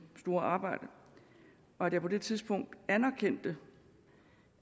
store arbejde og at jeg på det tidspunkt anerkendte